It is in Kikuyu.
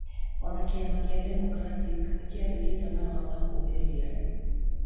O na kĩama kĩa Democratic nĩ kĩandĩkĩte marũa ma kũmũmĩrĩria andũ.